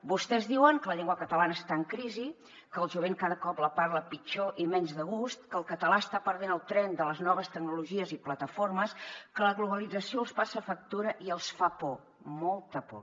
vostès diuen que la llengua catalana està en crisi que el jovent cada cop la parla pitjor i menys de gust que el català està perdent el tren de les noves tecnologies i plataformes que la globalització els passa factura i els fa por molta por